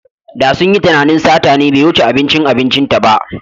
Da sun yi tunanin sata ne bai wuce abincin abincinta ba.